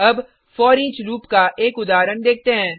अब foreach loop का एक उदाहरण देखते हैं